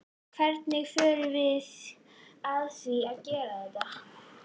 Hvernig förum við að því að greiða þetta?